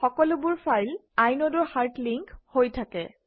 সকলোবোৰ file inode or hard link হৈ থাকে